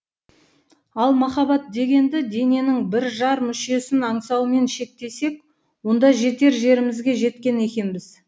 ал махаббат дегенді дененің бір жар мүшесін аңсаумен шектесек онда жетер жерімізге жеткен екенбіз